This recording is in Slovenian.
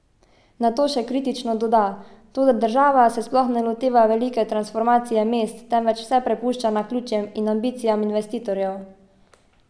Nato še kritično doda: 'Toda država se sploh ne loteva velike transformacije mest, temveč vse prepušča naključjem in ambicijam investitorjev.